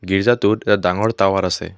গীৰ্জাটোত এটা ডঙৰ টাৱাৰ আছে।